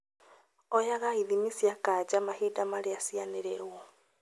Oyaga ithimi cia kanja mahinda marĩa cianĩrĩrwo